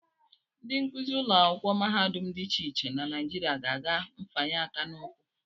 Ndị nkụzi ụlọakwụkwọ mahadum dị iche iche na Naijiria ga-aga mfanye aka n'ụkwụ